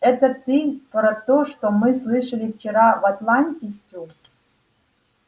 это ты про то что мы слышали вчера в атланте стю